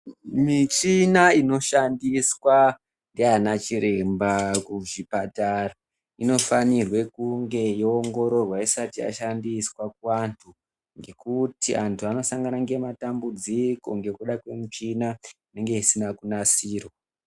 Michina inoshandiswa ngeanachiremba kuzvipatara, inofanirwe kunge yoongororwa isati yashandiswa kuantu ngekuti antu anosangana ngematambudziko ngekudakwemichina inenge isina kunasirwa.